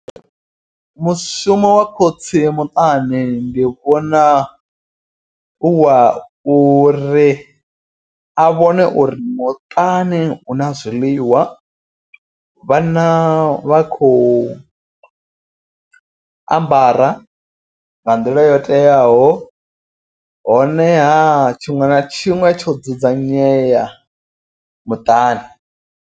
Mushumo wa khotsi muṱani ndi vhona u wa uri a vhone uri muṱani huna zwiḽiwa vhana vha khou ambara nga nḓila yo teaho. Honeha tshiṅwe na tshiṅwe tsho dzudzanyea muṱani.